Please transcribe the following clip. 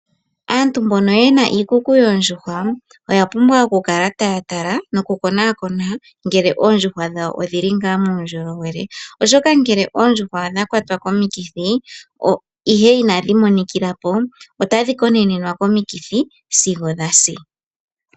Aantu mbono yena iikuku yoondjuhwa oyapumbwa okukala taya tala noku konakona ngele oondjuhwa dhawo odhili nga muundjolowele oshoka ngele oondjuhwa odha kwatwa komikithi ihe inadhi monikilapo otadhi konenwa komikithi sigo dhasi.